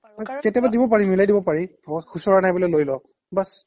কাৰণ কেতিয়াবা দিব পাৰি মিলাই দিব পাৰি ধৰক খুচুৰা নাই বোলে লৈ লওক বাচ